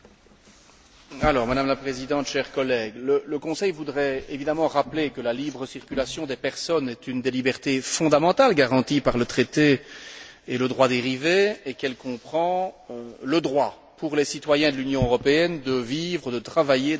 Madame la Présidente, chers collègues, le Conseil voudrait évidemment rappeler que la libre circulation des personnes est une des libertés fondamentales garanties par le traité et le droit dérivé, et qu'elle comprend le droit pour les citoyens de l'Union européenne de vivre, de travailler dans un autre État membre.